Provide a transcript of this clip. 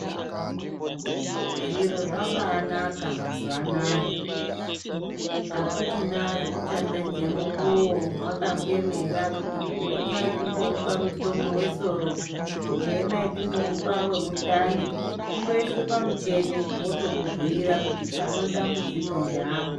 Zviro zvabanaka mazuwanaya akuchina zvekuchaoedze mwukuwo mwakaemera kuti chimboemai timbomuoa mutombo wesoro , chimboemai timbomupa wemundani , kundoiswe pamuchini wokubhiira kuti pane dambudziko ngeapa.